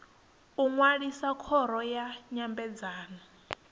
u ṅwalisa khoro ya nyambedzano